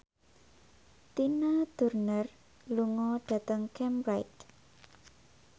Tina Turner lunga dhateng Cambridge